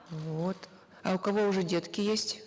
вот а у кого уже детки есть